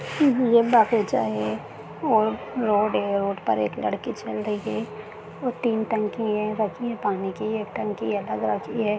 ये बगीचा है और रोड है रोड पे एक लड़की चल रही है और तीन टंकी है रखी है पानी की एक टंकी अलग रखी है।